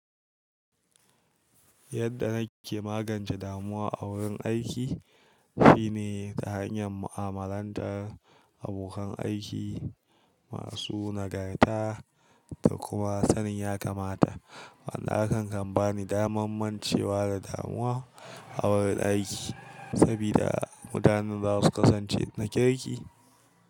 Yadda na ke magance damuwa a wurin aiki shine ta hanyar mu’amalantar abokan aiki masu nagarta da kuma sanin ya kamata. Wannan hakan kan bani damar mancewa da damuwa a wurin aiki, saboda mutanen za su kasance na kirki.